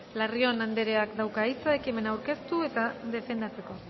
larrion andereak dauka hitza ekimena aurkeztu eta defendatzeko